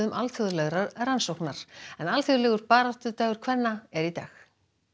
alþjóðlegrar rannsóknar alþjóðlegur baráttudagur kvenna er í dag